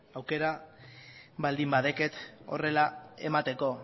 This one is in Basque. aukera baldin badeket horrela emateko